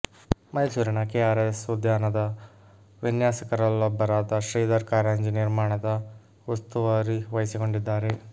ಮೈಸೂರಿನ ಕೆಆರ್ಎಸ್ ಉದ್ಯಾನದ ವಿನ್ಯಾಸಕರಲ್ಲೊಬ್ಬರಾದ ಶ್ರೀಧರ್ ಕಾರಂಜಿ ನಿರ್ಮಾಣದ ಉಸ್ತುವಾರಿ ವಹಿಸಿಕೊಂಡಿದ್ದಾರೆ